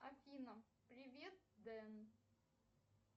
афина привет дэн